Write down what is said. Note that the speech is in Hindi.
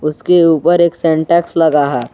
उसके ऊपर एक सेंटेंस लगा है।